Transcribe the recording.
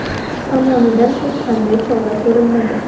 tomonidan hech qanday chora ko‘rilmagan.